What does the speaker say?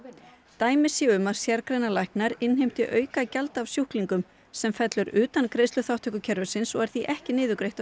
dæmi séu um að sérgreinalæknar innheimti aukagjald af sjúklingum sem fellur utan greiðsluþátttökukerfisins og er því ekki niðurgreitt af